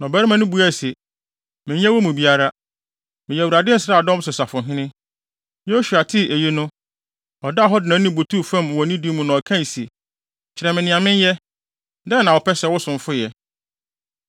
Na ɔbarima no buaa se, “Menyɛ wɔn mu biara, meyɛ Awurade nsraadɔm so safohene.” Yosua tee eyi no, ɔdaa hɔ de nʼanim butuu fam wɔ nidi mu na ɔkae se, “Kyerɛ me nea menyɛ, dɛn na wopɛ sɛ wo somfo yɛ?”